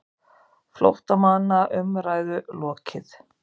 FLÓTTAMANNA UMRÆÐU LOKIÐ